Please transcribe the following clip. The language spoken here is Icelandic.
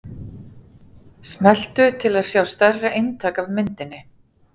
Smelltu til að sjá stærra eintak af myndinni.